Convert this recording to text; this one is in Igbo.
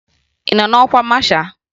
Ị nọ n'ọkwa masha?